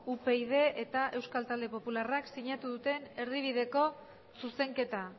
upyd eta euskal talde popularrak sinatu duten erdibideko zuzenketa